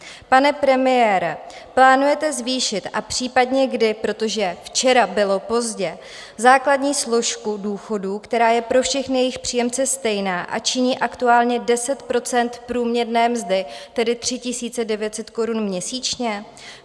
Pane premiére, plánujete zvýšit, a případně kdy, protože včera bylo pozdě, základní složku důchodu, která je pro všechny jejich příjemce stejná a činí aktuálně 10 % průměrné mzdy, tedy 3 900 korun měsíčně?